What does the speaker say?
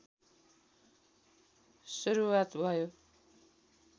सुरुवात भयो